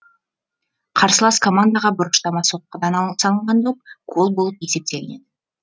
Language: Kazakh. қарсылас командаға бұрыштама соққыдан салынған доп гол болып есептелінеді